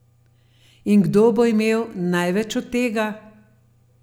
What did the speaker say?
In kdo bo imel največ od tega?